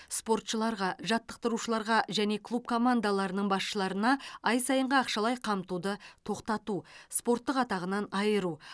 спортшыларға жаттықтырушыларға және клуб командаларының басшыларына ай сайынғы ақшалай қамтуды тоқтату спорттық атағынан айыру